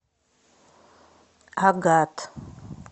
агат